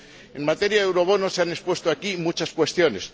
En materia de eurobonos, se han expuesto aquí muchas cuestiones.